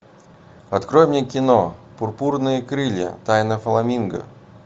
открой мне кино пурпурные крылья тайна фламинго